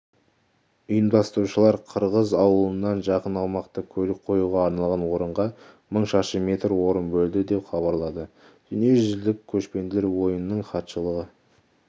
ұйымдастырушылар қырғыз ауылынан жақын аумақта көлік қоюға арналған орынға мың шаршы метр орын бөлді деп хабарлады дүниежүзілік көшпенділер ойынының хатшылығы